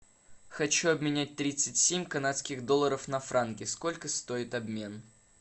хочу обменять тридцать семь канадских долларов на франки сколько стоит обмен